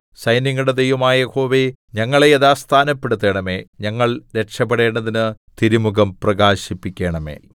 സൈന്യങ്ങളുടെ ദൈവമായ യഹോവേ ഞങ്ങളെ യഥാസ്ഥാനപ്പെടുത്തണമേ ഞങ്ങൾ രക്ഷപ്പെടേണ്ടതിന് തിരുമുഖം പ്രകാശിപ്പിക്കണമേ